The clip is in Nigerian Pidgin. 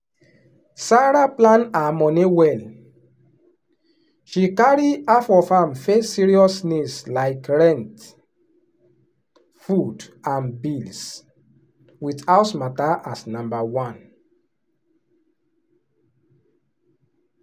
sarah plan her money well — she carry half of am face serious needs like rent food and bills with house matter as number one.